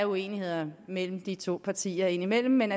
uenigheder mellem de to partier indimellem men